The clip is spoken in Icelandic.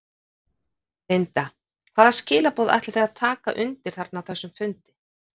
Linda: Hvaða skilaboð ætlið þið að taka undir þarna á þessum fundi?